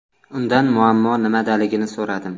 Undan muammo nimadaligini so‘radim.